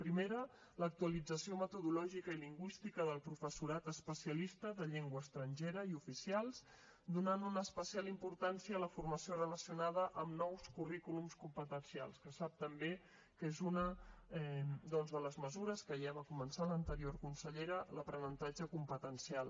primera l’actualització metodològica i lingüística del professorat especialista de llengua estrangera i oficials donant una especial importància a la formació relacionada amb nous currículums competencials que sap també que és una doncs de les mesures que ja va començar l’anterior consellera l’aprenentatge competencial